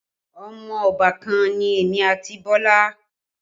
Ọmọ obàkan ni èmi àti Bọlá